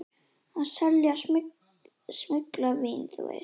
Að selja smyglað vín, þú veist.